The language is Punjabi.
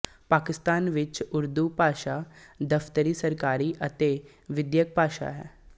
ਪਾਕਿਸਤਾਨ ਵਿੱਚ ਉਰਦੂ ਭਾਸ਼ਾ ਦਫ਼ਤਰੀ ਸਰਕਾਰੀ ਅਤੇ ਵਿੱਦਿਅਕ ਭਾਸ਼ਾ ਹੈ